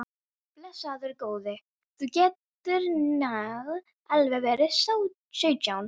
Blessaður góði, þú gætir nú alveg verið sautján!